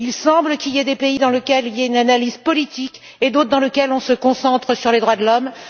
Il semble qu'il y ait des pays dans lesquels il y a une analyse politique et d'autres dans lesquels on se concentre sur les droits de l'homme.